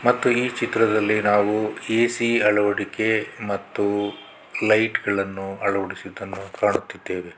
ಮತ್ತು ಈ ಚಿತ್ರದಲ್ಲಿ ನಾವು ಎ_ಸಿ ಅಳವಡಿಕೆ ಮತ್ತು ಲೈಟ್ಸ್ ಗಳನ್ನು ಅಳವಡಿಸಿದ್ದನ್ನು ಕಾಣುತ್ತಿದ್ದೇವೆ.